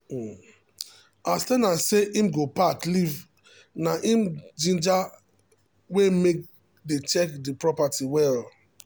um as ten ant say him go pack leave na um ginger wey make dey check the property wella.